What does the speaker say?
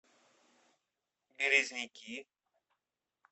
березники